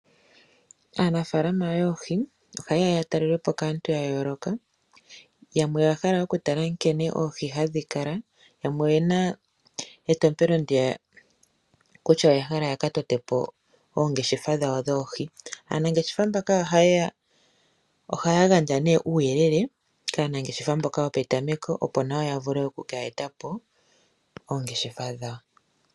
Aanafalama yoohi ohaye ya yatelelwepo kaantu ya yooloka. Yamwe oya hala okutala nkene oohi hadhi kala, yamwe oyena etompelo ndiya kutya oya hala ya ka tote po oongeshefa dhawo dhoohi. Aanangeshefa mbaka ohaya gandja nee kuuyelele kaanangeshefa mboka yopetameko, opo nayo ya vule oku ka eta po oongeshefa dhawo.